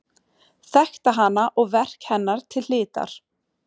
Þekkti hana og verk hennar til hlítar.